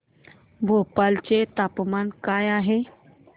भोपाळ चे तापमान काय आहे